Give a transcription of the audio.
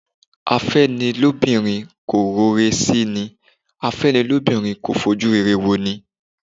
Afẹ́nilóbìnrin kò ro ire sí ni./ Afẹ́nilóbìnrin kò fojú rere wo ni